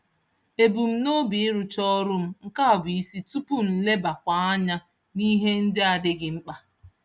Ebu m n'obi ịrụcha ọrụ m nke bụ isi tupu m lebawa anya n'ihe ndị adịghị mkpa.